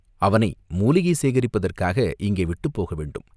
அவனை மூலிகை சேகரிப்பதற்காக இங்கே விட்டுப் போகவேண்டும்.